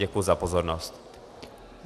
Děkuji za pozornost.